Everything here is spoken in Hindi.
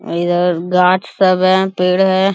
इधर गाछ सब है पेड़ है।